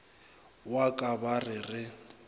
wa ka ba re re